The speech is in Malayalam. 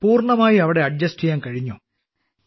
പൂർണമായി അവിടെ അഡ്ജസ്റ്റ് ചെയ്യാൻ കഴിഞ്ഞോ